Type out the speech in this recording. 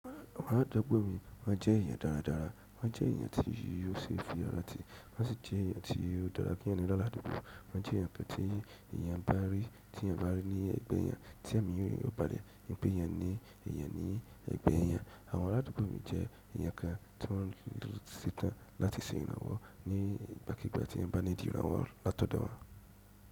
Àwọn aládùúgbò mi wọ́n jẹ́ èèyàn dáradára, wọ́n jẹ́ èèyàn tí ọ ṣe fi ara ti, wọ́n sì jẹ́ èèyàn tí óò dára kí èèyàn ni lálàdúgbò, wọ́n jẹ́ èèyàn kan tí èèyàn bá rí ní ẹ̀gbẹ́ èèyàn tí ẹ̀mí eeyan yóò padà, nípè èèyàn ní eeyan ni ẹ̀gbẹ́ èèyàn. Àwọn aládùúgbò mi jẹ́ èèyàn kan tí wọ́n lò se tan láti ṣe ìrànwọ́ ní ìgbàkígbà tí ẹ̀eyan ba nídi ìrànwọ́ látọ̀dọ̀ won.